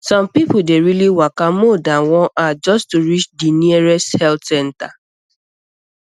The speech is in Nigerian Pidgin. some people dey really waka more than one hour just to reach di nearest health center